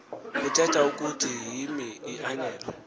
kuthetha ukuthi yimianelo